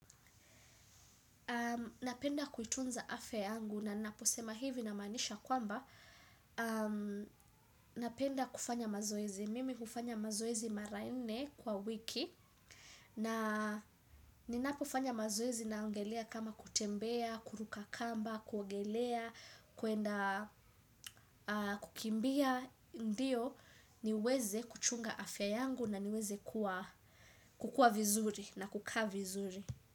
Napenda kuitunza afya yangu na ninaposema hivi namaanisha kwamba. Napenda kufanya mazoezi. Mimi hufanya mazoezi mara nne kwa wiki na ninapofanya mazoezi naongelea kama kutembea, kuruka kamba, kuogelea, kwenda kukimbia. Ndiyo niweze kuchunga afya yangu na niweze kukua vizuri na kukaa vizuri.